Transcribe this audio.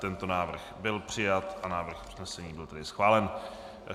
Tento návrh byl přijat a návrh usnesení byl tedy schválen.